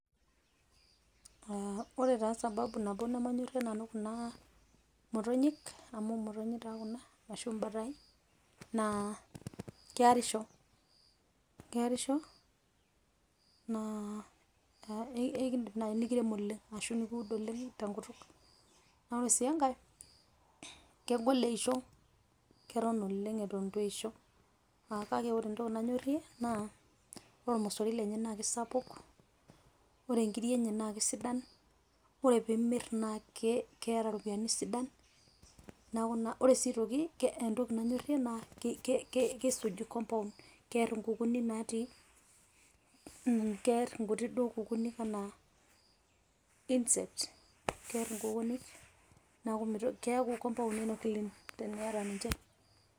Aa ore sababu nabo nemanyorrie Nanu Kuna motonyik amu imotonyik taa Kuna ashu ibataii naa keerisho keerisho naa kakiidim nayi nikirem oleng' ashu nikiud oleng' tenkutuk naa ore sii engae kegol eisho, keton oleng' Eton Eton eitu eisho, kake ore entoki nanyorrie ore olmosorin lenye naa kesapuk ore inkirri enye naa kesidan ore pee imirr naa keeta iropiyiani sidan neeku naa ore sii aitoki entoki nanyorrie naa ki kisuj compound kerr enkukuni natii Kerr enkuti kukuni enaa insect neeku keeku compound clean teniata niche.